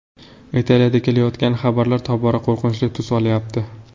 Italiyadan kelayotgan xabarlar tobora qo‘rqinchli tus olyapti.